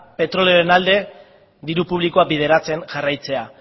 petrolioaren alde diru publikoa bideratzen jarraitzea